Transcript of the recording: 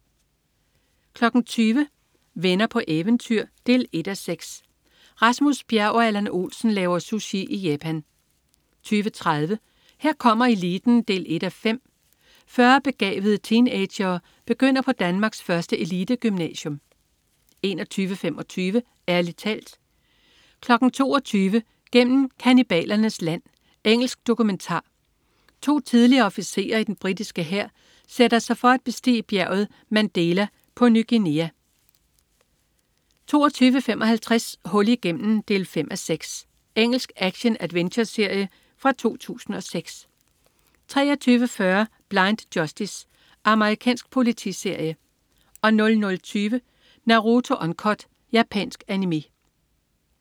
20.00 Venner på eventyr 1:6. Rasmus Bjerg og Allan Olsen laver sushi i Japan 20.30 Her kommer eliten 1:5. 40 begavede teenagere begynder på Danmarks første elitegymnasium 21.25 Ærlig talt 22.00 Gennem kannibalernes land. Engelsk dokumentar. To tidligere officerer i den britiske hær sætter sig for at bestige bjerget Mandela på Ny Guinea 22.55 Hul igennem 5:6. Engelsk action-adventureserie fra 2006 23.40 Blind Justice. Amerikansk politiserie 00.20 Naruto Uncut. Japansk Animé